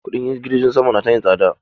Kuɗin jirgin sama na ta yin tsada ne.